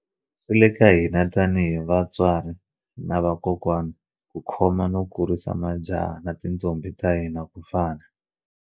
Swi le ka hina tanihi vatswari na vakokwana ku khoma no kurisa majaha na tintombhi ta hina ku fana.